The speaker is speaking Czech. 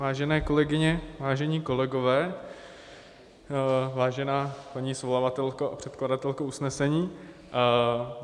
Vážené kolegyně, vážení kolegové, vážená paní svolavatelko a předkladatelko usnesení.